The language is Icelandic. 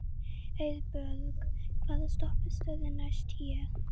Heiðbjörg, hvaða stoppistöð er næst mér?